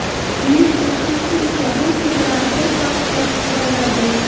Buyuk o‘qituvchi esa bu chegarani bir qarashdayoq ko‘ra oladi.